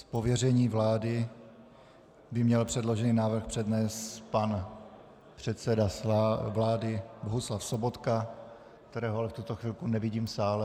Z pověření vlády by měl předložený návrh přednést pan předseda vlády Bohuslav Sobotka, kterého ale v tuto chvilku nevidím v sále.